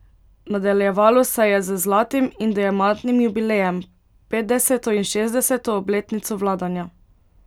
Nadaljevalo se je z zlatim in diamantnim jubilejem, petdeseto in šestdeseto obletnico vladanja.